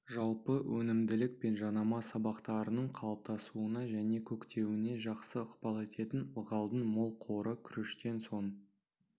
жалпы өнімділік пен жанама сабақтарының қалыптасуына және көктеуіне жақсы ықпал ететін ылғалдың мол қоры күріштен соң